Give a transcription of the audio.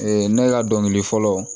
ne ka dɔnkili fɔlɔ